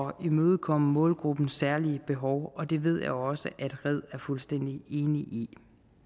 at imødekomme målgruppens særlige behov og det ved jeg også at red er fuldstændig enig